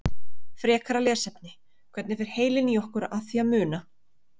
Frekara lesefni: Hvernig fer heilinn í okkur að því að muna?